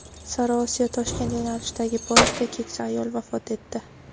Sariosiyo-Toshkent yo‘nalishidagi poyezdda keksa ayol vafot etdi.